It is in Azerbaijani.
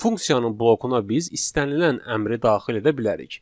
Funksiyanın blokuna biz istənilən əmri daxil edə bilərik.